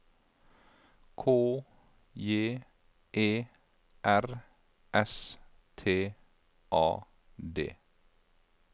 K J E R S T A D